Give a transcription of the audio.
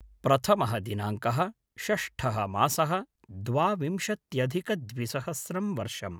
प्रथमः दिनाङ्कः-षष्टः मासः-द्वाविंशत्यधिकद्विसहस्रं वर्षम्